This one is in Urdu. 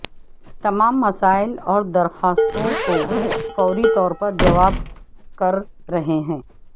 تمام مسائل اور درخواستوں کو فوری طور پر جواب کر رہے ہیں